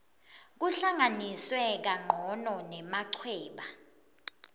kuhlanganiswe kancono nemachweba